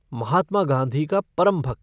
महात्मा गांधी का परम भक्त।